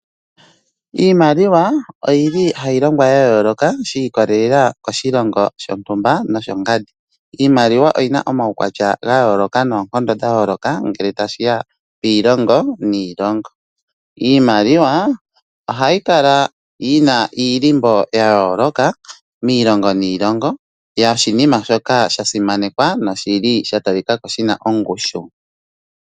Iimaliwa oyili hayi longwa ya yooloka shi ikolelela koshilongo shontumba noshongandi. Iimaliwa oyina omaukwatya ga yooloka noonkondo dha yooloka ngele tashiya kiilongo niilongo. Iimaliwa ohayi kala yina iilimbo ya yooloka miilongo niilongo yo oshinima shoka sha simanekwa noshili sha talikako shina ongushu.